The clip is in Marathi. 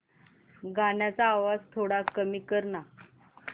गाण्याचा आवाज थोडा कमी कर ना